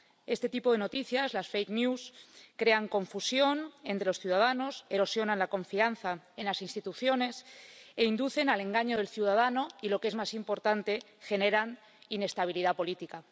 Este tipo de noticias —las crean confusión entre los ciudadanos, erosionan la confianza en las instituciones e inducen al engaño del ciudadano y, lo que es más importante, generan inestabilidad política.